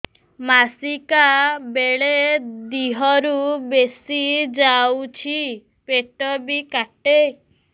ମାସିକା ବେଳେ ଦିହରୁ ବେଶି ଯାଉଛି ପେଟ ବି କାଟେ